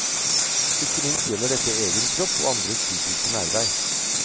Ikke minst gjelder dette egen kropp og andres fysiske nærvær.